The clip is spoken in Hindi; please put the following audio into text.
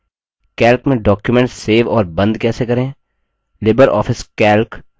calc में document सेव और बंद कैसे करें